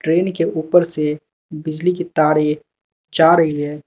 Train के ऊपर से बिजली की तारे जा रही है।